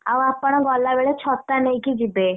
ଆଉ ଆପଣ ଗଲାବେଳେ ଛତା ନେଇକି ଯିବେ।